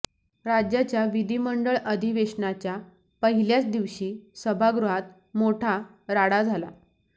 राज्याच्या विधिमंडळ अधिवेशनाच्या पहिल्याच दिवशी सभागृहात मोठा राडा झाला